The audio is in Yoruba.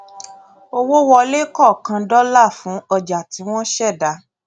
owó wọlé kọọkan dọlà fun ọjà tí wọn ṣẹdá